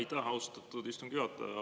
Aitäh, austatud istungi juhataja!